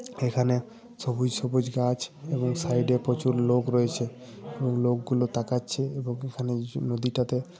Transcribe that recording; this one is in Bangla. এখানে সবুজ সবুজ গাছ এবং সাইডে প্রচুর লোক রয়েছে। এবং লোকগুলো তাকাচ্ছে এবং এখানে নদীটাতে.--